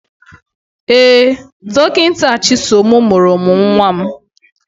Ee, Dọkịta Chisom mụrụ m nwa m.